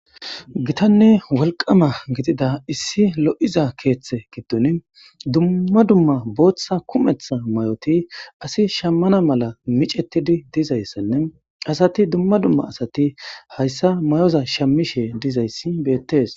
Gitanne woliqama gixida issi lo'iza keeththe giddun dumma dumma botha kumetha may'oti asi shamana mala micetidi dizaysenne asati duma duma asati hayssa may'oza shmishe dizayssi betes